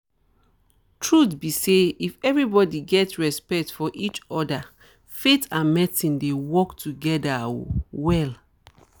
truth be say if everybody get respect for each other faith and medicine dey work together um well